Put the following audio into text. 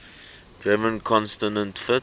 german consonant shift